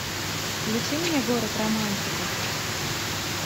включи мне город романтиков